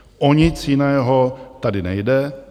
O nic jiného tady nejde.